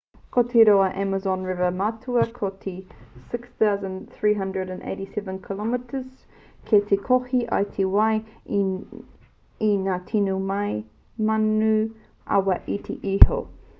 ko te roa o te amazon river matua ko te 6,387 km 3,980 maero. kei te kohi ia i te wai mai i ngā tini mano awa iti iho